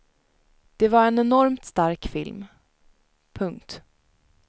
Det var en enormt stark film. punkt